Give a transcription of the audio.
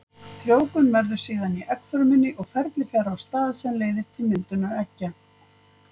Frjóvgun verður síðan í eggfrumunni og ferli fer á stað sem leiðir til myndunar eggja.